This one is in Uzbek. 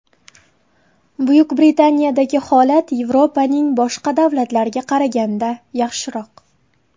Buyuk Britaniyadagi holat Yevropaning boshqa davlatlariga qaraganda yaxshiroq .